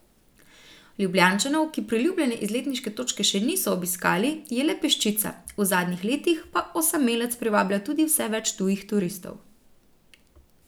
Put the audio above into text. Ljubljančanov, ki priljubljene izletniške točke še niso obiskali, je le peščica, v zadnjih letih pa osamelec privablja tudi vse več tujih turistov.